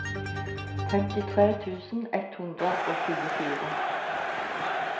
femtitre tusen ett hundre og tjuefire